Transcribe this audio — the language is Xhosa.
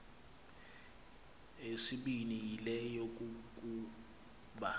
eyesibini yile yokokuba